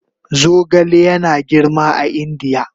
Zogale yana girma a Indiya